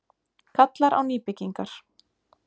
Kallar á nýbyggingar